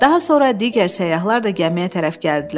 Daha sonra digər səyyahlar da gəmiyə tərəf gəldilər.